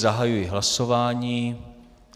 Zahajuji hlasování.